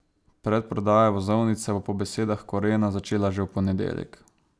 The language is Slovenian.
Predprodaja vozovnic se bo po besedah Korena začela že v ponedeljek.